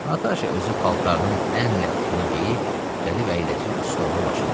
Nataşa özü paltarının ən lətifini geyib, gəlib əyləşir stolun başında.